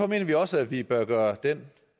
mener vi også at vi bør gøre den